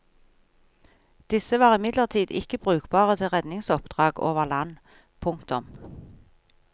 Disse var imidlertid ikke brukbare til redningsoppdrag over land. punktum